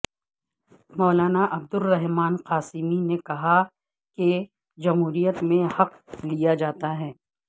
مولانا عبدالرحمن قاسمی نے کہا کہ جمہوریت میں حق لیاجاتاہے